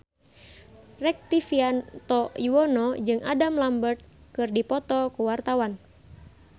Rektivianto Yoewono jeung Adam Lambert keur dipoto ku wartawan